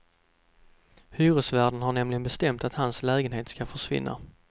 Hyresvärden har nämligen bestämt att hans lägenhet ska försvinna.